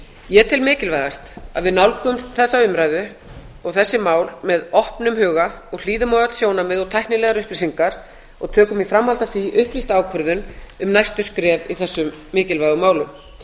ég tel mikilvægast að við nálgumst þessa umræðu og þessi mál með opnum huga og hlýðum á öll sjónarmið og tæknilega upplýsingar og tökum í framhaldi af því upplýsta ákvörðun um næstu skref í þessum mikilvægu málum